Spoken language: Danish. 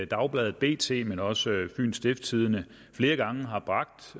dagbladet bt men også fyens stiftstidende flere gange har bragt